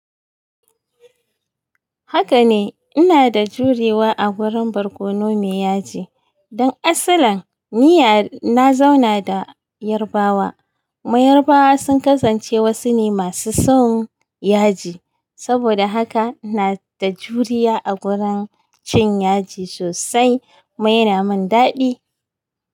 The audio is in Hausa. Haka ne, ina da jurewa a gurin barkono mai yaji. Don asalin, ni na zauna da Yarbawa. Mai Yarbawa sun kasance wasu ne masu son yaji. Saboda haka ina da juriya a gurin cin yaji sosai. Kuma yana min daɗi.